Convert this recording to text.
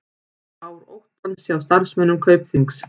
Ár óttans hjá starfsmönnum Kaupþings